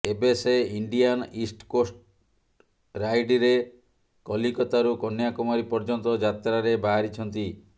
ଏବେ ସେ Indian east coast ରାଇଡରେ କଲିକତାରୁ କନ୍ୟାକୁମାରୀ ପର୍ୟ୍ୟନ୍ତ ଯାତ୍ରାରେ ବାହାରିଛନ୍ତି